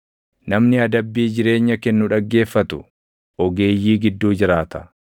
Namni adabbii jireenya kennu dhaggeeffatu, ogeeyyii gidduu jiraata.